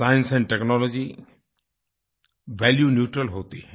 science and technology value neutral होती हैं